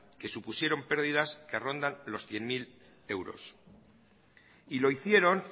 que supusieron pérdidas que rondan los cien mil euros y lo hicieron